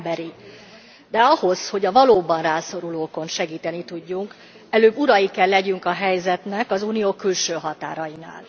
Ez emberi, de ahhoz, hogy a valóban rászorulókon segíteni tudjunk, előbb urai kell legyünk a helyzetnek az Unió külső határainál.